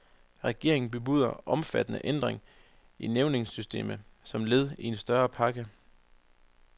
Regeringen bebuder omfattende ændring i nævningesystemet som led i en større pakke.